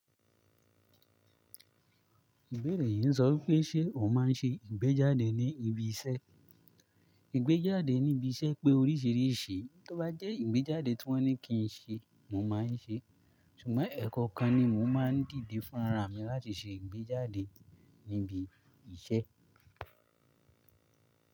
Ìbéèrè yìí ń sọ wípé ṣe ò máa ń ṣe ìgbéjáde ní ibi iṣẹ́? Ìgbéjáde ní ibi iṣẹ́ pé oríṣìíríṣìí, tó bá jẹ́ ìgbéjáde tí wọ́n ní kí n ṣe, mo máa ń ṣe. Ṣùgbọ́n ẹ̀kọ́ kan ni mo máa ń dìde fúnra mi láti ṣe ìgbéjáde níbi iṣẹ́.